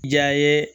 Ja ye